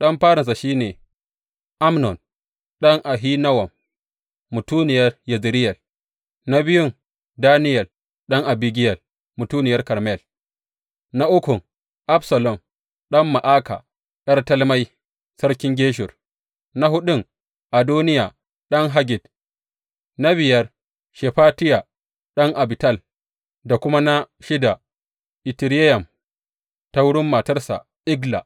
Ɗan farinsa shi ne Amnon ɗan Ahinowam mutuniyar Yezireyel; na biyun, Daniyel ɗan Abigiyel mutuniyar Karmel; na ukun, Absalom ɗan Ma’aka ’yar Talmai sarkin Geshur; na huɗun, Adoniya ɗan Haggit; na biyar, Shefatiya ɗan Abital; da kuma na shida, Itireyam ta wurin matarsa Egla.